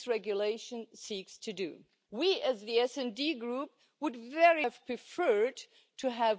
framework. We want to start negotiations on the e privacy regulation with the Council now.